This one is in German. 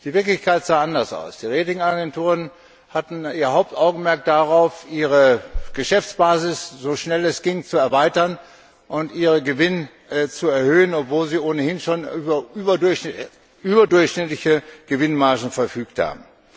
Die Wirklichkeit sah anders aus. Die Ratingagenturen hatten ihr Hauptaugenmerk darauf, ihre Geschäftsbasis, so schnell es ging, zu erweitern und ihre Gewinne zu erhöhen, obwohl sie ohnehin schon über überdurchschnittliche Gewinnmargen verfügt haben.